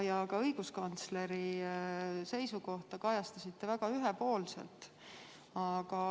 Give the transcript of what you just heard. Ja ka õiguskantsleri seisukohta kajastasite väga ühepoolselt.